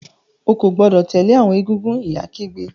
O ko gbọdọ tẹle awọn egúngún! ìyá kígbe.